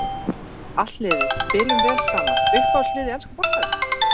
Allt liðið spilum vel saman Uppáhalds lið í enska boltanum?